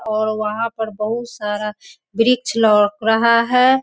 और वहां पर बहुत सारा वृक्ष लोक रहा है।